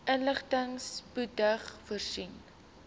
inligting spoedig voorsien